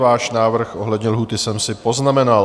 Váš návrh ohledně lhůty jsem si poznamenal.